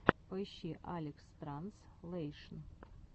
поищи алекстранзлэйшн